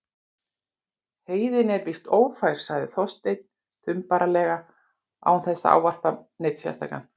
Heiðin er víst ófær- sagði Þorsteinn þumbaralega án þess að ávarpa neinn sérstaklega.